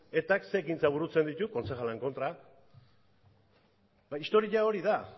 etak ze ekintza burutzen ditu kontzejalen kontra historia hori da